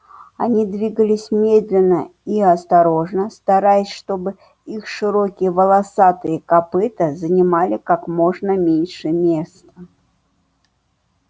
они двигались медленно и осторожно стараясь чтобы их широкие волосатые копыта занимали как можно меньше места